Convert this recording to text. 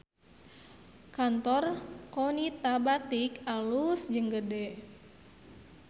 Kantor Qonita Batik alus jeung gede